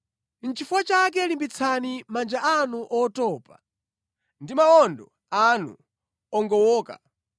Nʼchifukwa chake limbitsani manja anu otopa ndi mawondo anu ogowoka.